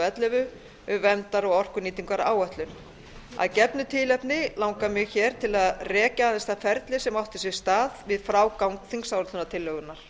ellefu um verndar og orkunýtingaráætlun að gefnu tilefni langar mig til að rekja aðeins það ferli sem átti sér stað við frágang þingsályktunartillögunnar